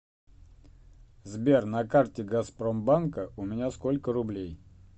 сбер на карте газпромбанка у меня сколько рублей